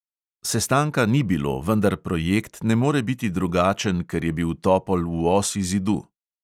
Sestanka ni bilo, vendar projekt ne more biti drugačen, ker je bil topol v osi zidu.